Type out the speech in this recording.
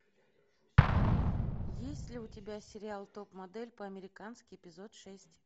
есть ли у тебя сериал топ модель по американски эпизод шесть